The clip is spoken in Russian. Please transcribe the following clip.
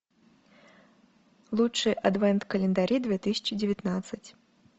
лучшие адвент календари две тысячи девятнадцать